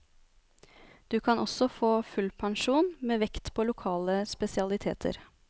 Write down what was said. Du kan også få full pensjon, med vekt på lokale spesialiteter.